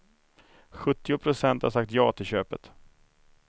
Sjuttio procent har sagt ja till köpet.